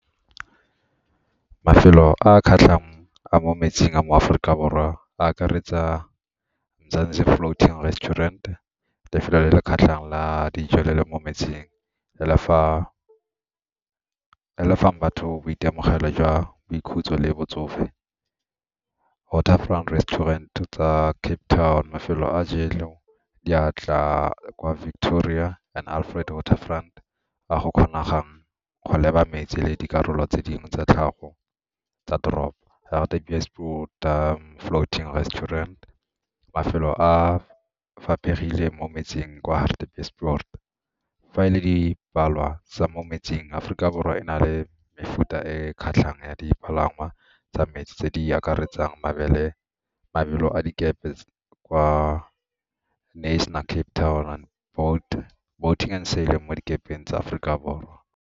Mafelo a a kgatlhang a mo metsing a mo Aforika Borwa a akaretsa Mzanzi Floating Restaurant, lefelo le le kgatlhang la dijo le le mo metsing, le le fang batho boitemogelo jwa boikhutso le botsofe. Waterfront Restaurant tsa Cape Town, mafelo a diatla kwa Victoria gore and Alfred Waterfront a go kgonegang go leba metsi le dikarolo tse dingwe tsa tlhago tsa toropo. Hartebeesport Dam, Floating Restaurant, mafelo a mo metsing kwa Hartebeesport fa e le dipalangwa tsa mo metsing, Aforika Borwa e na le mefuta e e kgatlhang ya dipalangwa tsa metsi tse di akaretsang mabelo a dikepe kwa Cape Town boat mo dikepeng tsa Aforika Borwa.